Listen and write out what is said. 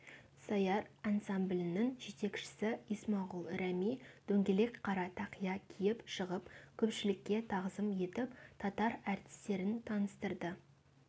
сәяр ансамблінің жетекшісі исмағұл рәми дөңгелек қара тақия киіп шығып көпшілікке тағзым етіп татар әртістерін таныстырды